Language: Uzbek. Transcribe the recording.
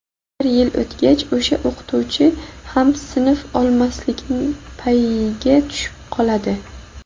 Bir yil o‘tgach o‘sha o‘qituvchi ham sinf olmaslikni payiga tushib qoladi.